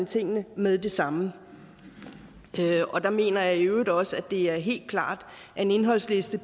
tingene med det samme der mener jeg i øvrigt også at det er helt klart at en indholdsliste